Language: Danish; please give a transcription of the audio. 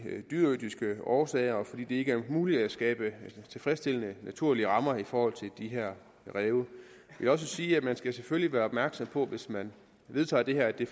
dyreetiske årsager og fordi det ikke er muligt at skabe tilfredsstillende naturlige rammer i forhold til de her ræve jeg vil også sige at man selvfølgelig skal være opmærksom på hvis man vedtager det her at det